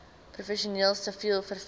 professioneel siviel vervoer